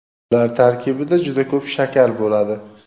ular tarkibida juda ko‘p shakar bo‘ladi.